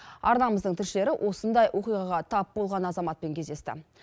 арнамыздың тілшілері осындай оқиғаға тап болған азаматпен кездесті